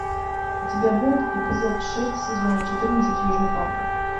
у тебя будет эпизод шесть сезона четырнадцать южный парк